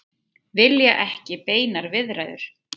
Vilja ekki beinar viðræður